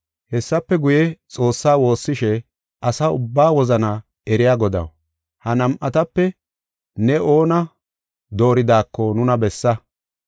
Hessafe guye, Xoossa woossishe, “Asa ubba wozana eriya Godaw, ha nam7atape ne oona dooridako nuna bessa.